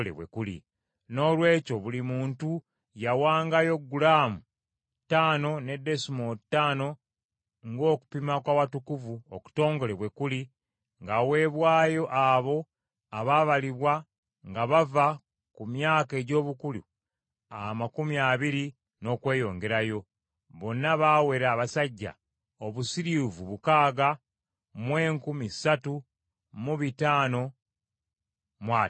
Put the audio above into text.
Noolwekyo, buli muntu yawangayo gulaamu ttaano ne desimoolo ttaano ng’okupima kw’Awatukuvu okutongole bwe kuli ng’aweebwayo abo abaabalibwa nga bava ku myaka egy’obukulu amakumi abiri n’okweyongerayo, bonna baawera abasajja obusiriivu mukaaga mu enkumi ssatu mu bitaano mu ataano.